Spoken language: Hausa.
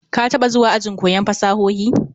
Ka taba zuwa ajin koyon fasahohi?